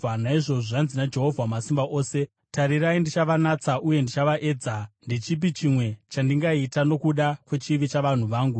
Naizvozvo zvanzi naJehovha Wamasimba Ose: “Tarirai, ndichavanatsa uye ndichavaedza, ndechipi chimwe chandingaita nokuda kwechivi chavanhu vangu?